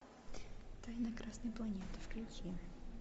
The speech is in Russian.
тайна красной планеты включи